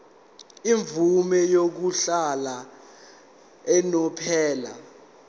imvume yokuhlala unomphela